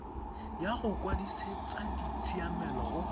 ya go kwadisetsa ditshiamelo go